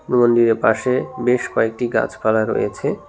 মন্দিরের পাশে বেশ কয়েকটি গাছপালা রয়েছে।